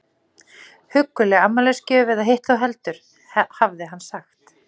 Hugguleg afmælisgjöf eða hitt þó heldur, hafði hann sagt.